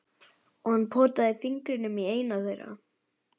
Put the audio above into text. Og hann potaði fingrinum í eina þeirra.